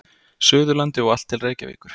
Suðurlandi og allt til Reykjavíkur.